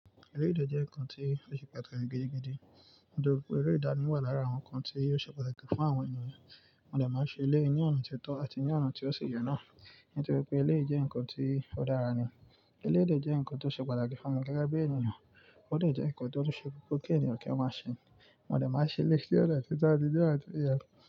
Eléyi dè jẹ́ nǹkan tí ó ṣe pàtàkì gidi gan. Nítorí pé eré ìdánì wà lára àwọn nǹkan tí ò ṣe pàtàkì fún àwọn ènìyàn. Wọn dè máa n ṣe eléyi ní ọ̀nà tió tọ́ àti ní ọ̀nà tí ó sì yẹ́ náà. Nitoripe eleyi je nkan ti o dara ni eléyi dè jẹ́ ǹkan tí ó ṣe pàtàkì fún mi gẹ́gẹ́ bí ènìyàn. Ó dẹ́ je ǹkan tí ó ṣe gbogbo kí ènìyàn kí ó máa ṣe. Wọn lè máa ṣe eléèdè sí ọ̀nà tí tọ́ àti jẹ́ àti ìyẹ́